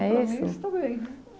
É isso? Para mim, está bem